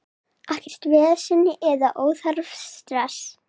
Ekkert vesen eða óþarfa stress.